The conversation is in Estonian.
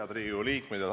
Head Riigikogu liikmed!